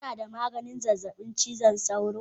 Ko kana da maganin zazzabin cizon sauro?